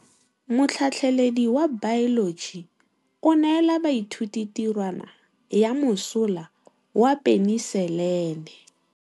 Motlhatlhaledi wa baeloji o neela baithuti tirwana ya mosola wa peniselene.